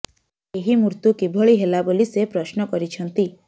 ଏହି ମୃତ୍ୟୁ କିଭଳି ହେଲା ବୋଲି ସେ ପ୍ରଶ୍ନ କରିଛନ୍ତି